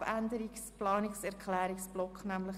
Abänderungsantrag/Planungserklärung FiKoMinderheit